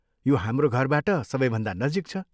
यो हाम्रो घरबाट सबैभन्दा नजिक छ।